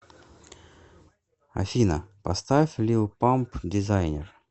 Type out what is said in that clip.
афина поставь лил памп дизайнер